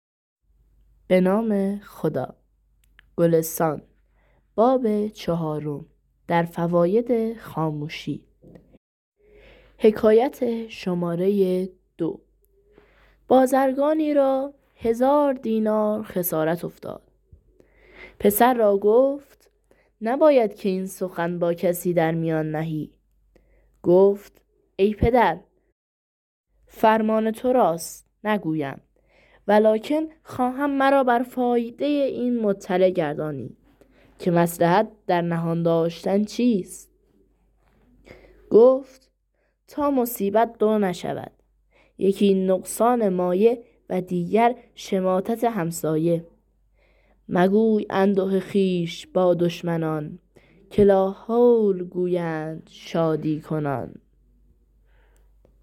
بازرگانی را هزار دینار خسارت افتاد پسر را گفت نباید که این سخن با کسی در میان نهی گفت ای پدر فرمان تو راست نگویم ولکن خواهم مرا بر فایده این مطلع گردانی که مصلحت در نهان داشتن چیست گفت تا مصیبت دو نشود یکی نقصان مایه و دیگر شماتت همسایه مگوی انده خویش با دشمنان که لاحول گویند شادی کنان